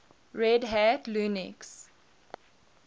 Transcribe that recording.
red hat linux